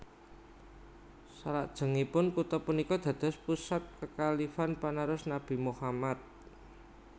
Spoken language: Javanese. Salajengipun kutha punika dados pusat kekhalifan panerus Nabi Muhammad